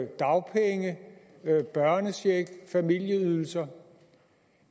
dagpenge børnecheck og familieydelser